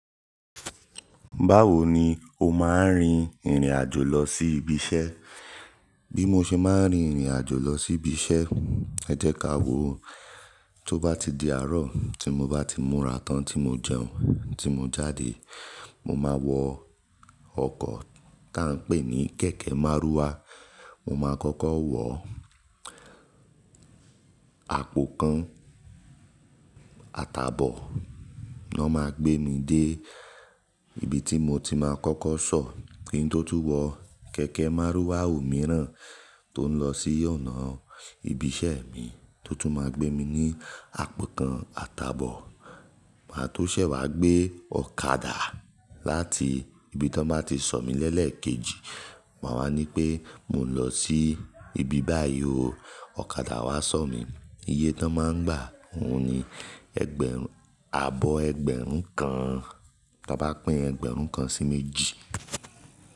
Báwo ni o máa ń rin ìrìn àjò lọ sí ibi iṣẹ́? Bí mo ṣe máa ń rin ìrìn àjò lọ sí ibi iṣẹ́, ẹ jẹ́ ka wò ó. Tó bá ti di àárọ̀ tí mo bá ti múra tán tí mo jẹun, tí mo jáde, mo máa wọ ọkọ̀ tá ń pè ní kẹ̀kẹ́ márúwá. Mo máa kọ́kọ́ wọ àpò kan àtàbọ̀, náà máa gbé mi dé ibi tí mo ti máa kọ́kọ́ sọ̀. Kín tó túbọ̀, kẹ̀kẹ́ márúwá ò mìíràn tó ń lọ sí ọ̀nà ibi iṣẹ́ mi tó tún máa gbé mi ní àpò kan àtàbọ̀. Màá tó ṣẹ̀ wá gbé ọ̀kadà láti ibi tí wọ́n bá ti sọ̀ mí lẹ́lẹ̀ kejì, màá wá ní pé mò ń lọ sí ibi báyìí o, ọ̀kadà wá sọ̀ mí. Iye tó máa ń gbà òun ni ẹgbẹ̀rún, ààbọ̀ ẹgbẹ̀rún kan, bá bá pín ẹgbẹ̀rún kan sí méjì.